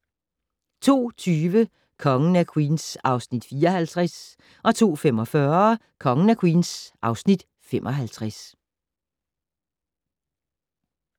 02:20: Kongen af Queens (Afs. 54) 02:45: Kongen af Queens (Afs. 55)